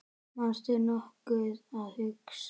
manstu nokkuð að hugsa